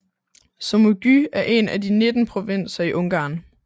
Somogy er en af de 19 provinser i Ungarn